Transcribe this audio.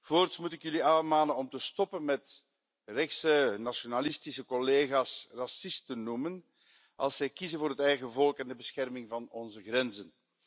Voorts moet ik jullie aanmanen om te stoppen met rechtse nationalistische collega's racisten te noemen als zij kiezen voor het eigen volk en de bescherming van onze grenzen.